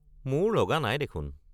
মোৰ লগা নাই দেখোন।